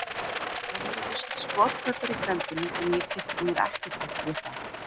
Það heyrðust skothvellir í grenndinni en ég kippti mér ekkert upp við það.